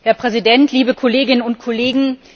Herr Präsident, liebe Kolleginnen und Kollegen!